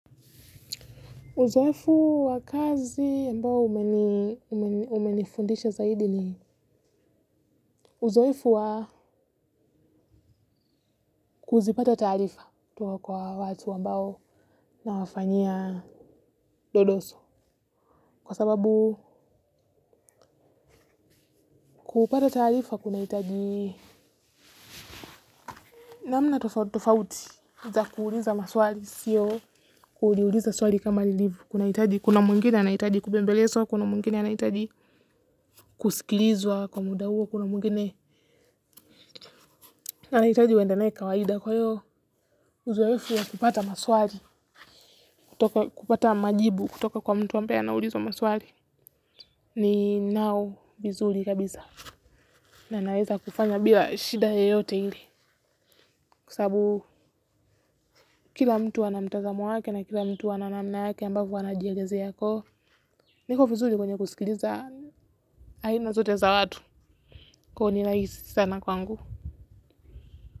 Uzoefu wa kazi ambao ume umenifundisha zaidi ni uzoefu wa kuzipata taarifa kutoka kwa watu ambao nawafanyia dodoso. Kwa sababu kupata taarifa kunahitaji namna tofauti tofauti za kuuliza maswali sio kuuliza swali kama lilivyo. Kunahitaji. Kuna mwingine anahitaji kubembelezwa, kuna mwingine anahitaji kusikilizwa kwa muda huo, kuna mwingine anahitaji uende nae kawaida kwa hiyo. Uzoefu ya kupata maswali, kupata majibu kutoka kwa mtu wa ambae anaulizwa maswali ninao vizuri kabisa. Na naweza kufanya bila shida yoyote ile. Kwa sababu kila mtu ana mtazamo wake na kila mtu ana namna yake ambavyo anajielezea ko niko vizuri kwenye kusikiliza aina zote za watu. Kwahyo ni rahisi sana kwangu.